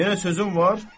Yenə sözün var?